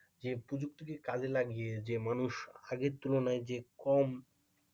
এই প্রযুক্তিকে কাজে লাগিয়ে যে মানুষ আগের তুলনায় যে কম.